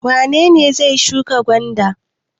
Wane ne zai shuka gwanda?